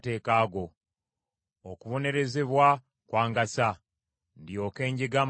Okubonerezebwa kwangasa, ndyoke njige amateeka go.